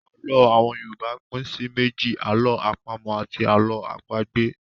Àlọ́ àwọn Yorùbá pín sí méjì; 'àlọ́ àpamọ̀' àti 'àlọ́ àpagbè'.